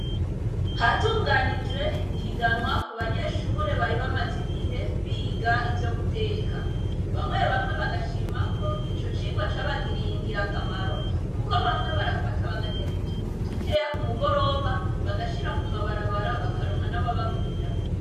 Hatunganijwe ihiganwa ku banyeshure bari bamaze igihe biga ivyo guteka. Bamwe bamwe bagashima ko ico cirwa cabagiriye ingira akamaro kuko bamwe barafata bagateka utuntu dukeya ku mugoroba bagashira ku mabarabara bakaronka nababagurira.